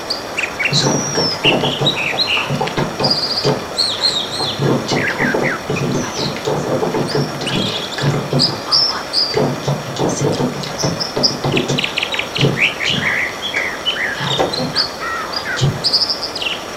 Suuraa kana irratti akkuma arguu dandeenyutti nyaanni kun yeroo jalqabaatif biyya xaaliyaan keessatti beekama ture. Garuu yeroo ammaa biyya keenya keessatti biyyoota adda addaatti oomishamaa jira. Maqaan nyaata kanaa maal jedhama?